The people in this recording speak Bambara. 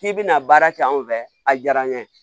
K'i bɛna baara kɛ anw fɛ a diyara n ye